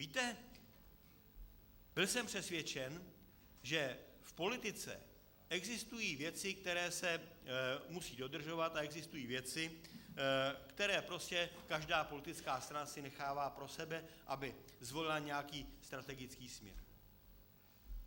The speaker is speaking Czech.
Víte, byl jsem přesvědčen, že v politice existují věci, které se musí dodržovat, a existují věci, které prostě každá politická strana si nechává pro sebe, aby zvolila nějaký strategický směr.